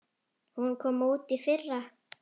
Hún kom út í fyrra.